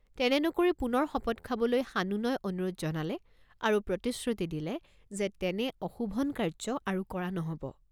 তেনে নকৰি পুনৰ শপত খাবলৈ সানুনয় অনুৰোধ জনালে আৰু প্ৰতিশ্ৰুতি দিলে যে তেনে অশোভন কাৰ্য আৰু কৰা নহব।